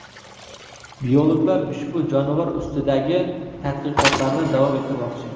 Biologlar ushbu jonivor ustidagi tadqiqotlarni davom ettirmoqchi.